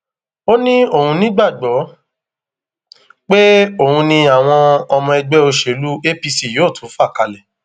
ó ní òun nígbàgbọ pé òun ni àwọn ọmọ ẹgbẹ òṣèlú apc yóò tún fa kalẹ